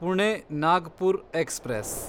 Pune Nagpur express